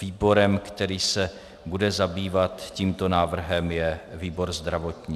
Výborem, který se bude zabývat tímto návrhem, je výbor zdravotní.